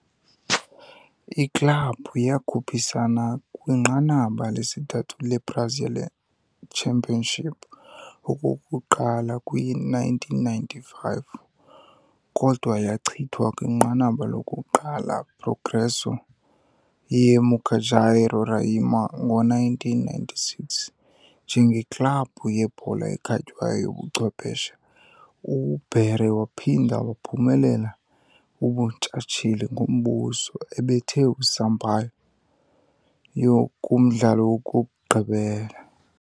Iklabhu yakhuphisana kwiNqanaba lesithathu le-Brazilian Championship okokuqala kwi-1995, kodwa yachithwa kwinqanaba lokuqala Progresso, ye-Mucajaí, Roraima. Ngo-1996, njengeklabhu yebhola ekhatywayo yobuchwephesha, uBaré waphinda waphumelela ubuntshatsheli ngombuso, ebetha uSampaio kumdlalo wokugqibela.